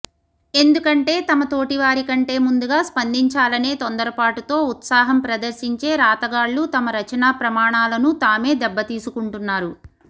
ఎందుకంటే తమ తోటివారికంటే ముందుగా స్పందించాలనే తొందరపాటుతో ఉత్సాహం ప్రదర్శించే రాతగాళ్లు తమ రచనా ప్రమాణాలను తామే దెబ్బతీసుకుంటున్నారు